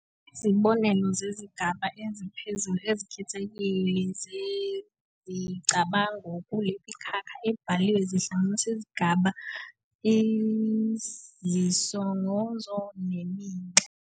Izibonelo zezigaba eziphezulu ezikhethekile zezicabango kulemikhakha ebaliwe zihlanganisa izigaba, izisongozo neminxa.